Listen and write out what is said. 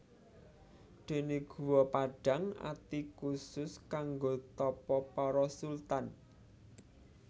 Déné Guwa Padhang Ati khusus kanggo tapa para sultan